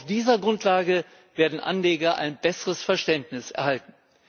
Auf dieser Grundlage werden Anleger ein besseres Verständnis erhalten.